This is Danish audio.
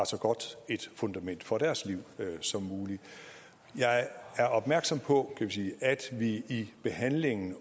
et så godt fundament for deres liv som muligt jeg er opmærksom på kan vi sige at vi i behandlingen